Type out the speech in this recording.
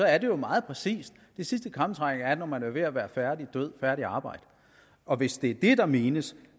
er det jo meget præcist de sidste krampetrækninger er når man er ved at være færdig død færdigt arbejde og hvis det er det der menes